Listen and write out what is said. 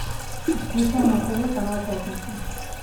включай на тв канал пятница